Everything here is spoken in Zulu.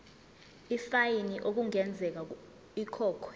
ifayini okungenzeka ikhokhwe